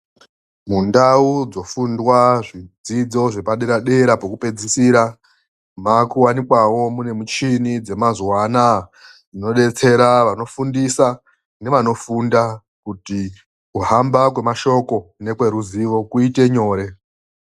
Mundau dzofundwa zvidzidzo zvepadera-dera pokupedzisira makuwanikwawo mune michini dzemazuva anaaya. Dzinobetsera vanofundisa nevanofunda kuti kuhamba kwemashoko nekweruzivo kuite nyore.